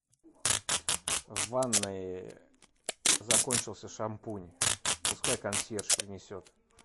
в ванной закончился шампунь пускай консьерж принесет